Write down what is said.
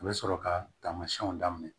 U bɛ sɔrɔ ka taamasiyɛnw daminɛ